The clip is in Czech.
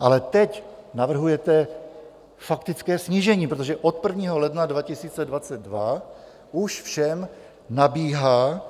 Ale teď navrhujete faktické snížení, protože od 1. ledna 2022 už všem nabíhá